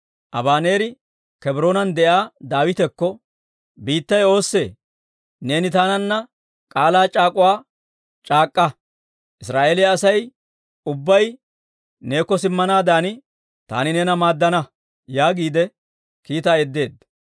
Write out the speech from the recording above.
Abaneeri Kebroonan de'iyaa Daawitekko, «Biittay oossee? Neeni taananna k'aalaa c'aak'uwaa c'aak'k'a; Israa'eeliyaa Asay ubbay neekko simmanaadan taani neena maaddana» yaagiide kiitaa yeddeedda.